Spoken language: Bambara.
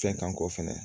Fɛn kan kɔ fɛnɛ